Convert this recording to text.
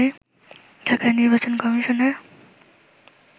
ঢাকায় নির্বাচন কমিশনের